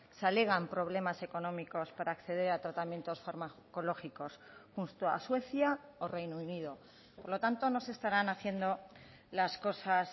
se alegan problemas económicos para acceder a tratamientos farmacológicos junto a suecia o reino unido por lo tanto no se estarán haciendo las cosas